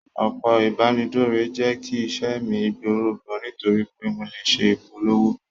Òpó ìbánidọ́rẹ̀, jẹ́ kí iṣẹ́ mi gbòòrò gan, nítorí pé mo lè ṣe ìpolówó.